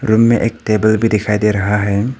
Room में एक table भी दिखाई दे रहा है।